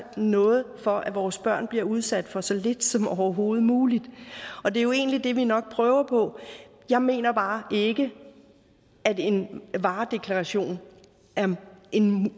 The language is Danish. noget for at vores børn bliver udsat for så lidt som overhovedet muligt og det er jo egentlig nok det vi prøver på jeg mener bare ikke at en varedeklaration er